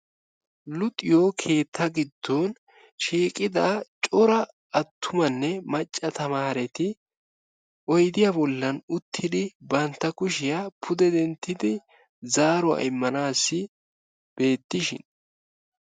Luxiyo keetta giddon shiiqida cora attumanne macca tamaareti oydiya bollan uttidi bantta kushshiya pude denttidi zaaruwa immanaassi beetishin.